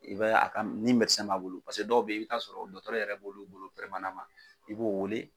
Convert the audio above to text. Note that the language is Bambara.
I bɛ a ni b'a bolo dɔw bɛ yen i bɛ t'a sɔrɔ dɔtɔtɔrɔ yɛrɛ b'olu bolo i b'o wele